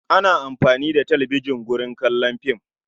Ana amfani da talbijan wurin kallon fim.